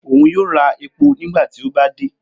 Oun yoo ra epo nigbati o ba de.